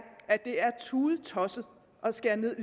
tudetosset at skære ned